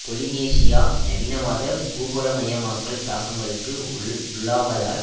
Polynesia நவீனவாத பூகோளமயமாக்கல் தாக்கங்களுக்கு உள் உள்ளாவதால்